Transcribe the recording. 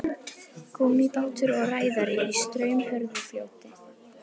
gúmmíbátur og ræðari í straumhörðu fljóti